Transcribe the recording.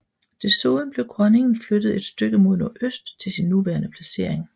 Desuden blev Grønningen flyttet et stykke mod nordøst til sin nuværende placering